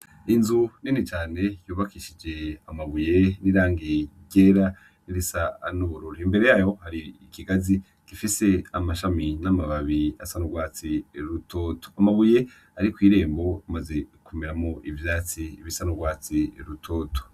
Inzu nini cane yubakishije amabuye n'irangi ryera n'irisa n'ubururu. Imbere yayo hari ikigazi gifise amashami n'amababi asa n'urwatsi rutoto, amabuye ari kw'irembo amaze kumeramwo ivyatsi bisa n'urwatsi rutoto.